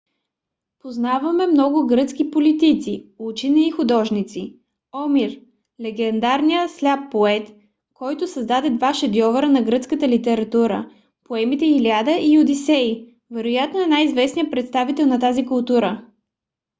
познаваме много гръцки политици учени и художници. омир - легендарният сляп поет който създаде два шедьовъра на гръцката литература: поемите илиада и одисей вероятно е най-известният представител на тази култура